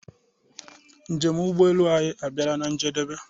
Njem ụgbọ elu anyi abiala na-njedebe.